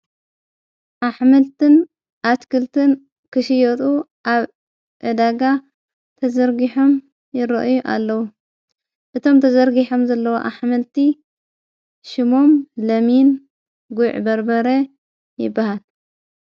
ኣሕመልትን ኣትክልትን ክሽዮጡ ኣብ ዕዳጋ ተዘርጊሖም ይርአዩ ኣለዉ እቶም ተዘርጊሖም ዘለዎ ኣኅመልቲ ሽሞም ለሚን ጉዕ በርበረ ይበሃል።